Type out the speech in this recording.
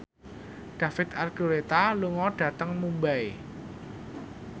David Archuletta lunga dhateng Mumbai